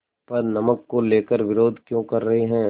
पर नमक को लेकर विरोध क्यों कर रहे हैं